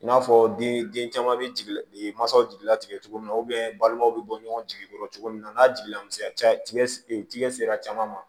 I n'a fɔ di den caman bɛ jigin mansaw jigila tigɛ cogo min na balimaw bɛ bɔ ɲɔgɔn jigi kɔrɔ cogo min na n'a jiginna misɛnya tiga sera caman ma